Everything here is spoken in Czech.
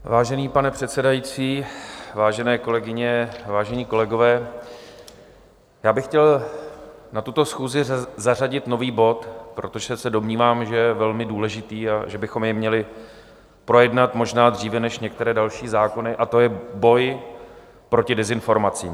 Vážený pane předsedající, vážené kolegyně, vážení kolegové, já bych chtěl na tuto schůzi zařadit nový bod, protože se domnívám, že je velmi důležitý a že bychom jej měli projednat možná dříve než některé další zákony, a to je boj proti dezinformacím.